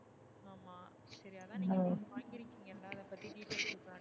சரி அதா நீங்க ஒன்னு வாங்கிருகிங்கள அத பத்தி detail சொல்லுங்க